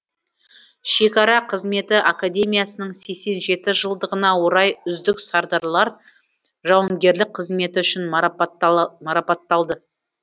шекара қызметі академиясының сексен жеті жылдығына орай үздік сардарлар жауынгерлік қызметі үшін марапатталды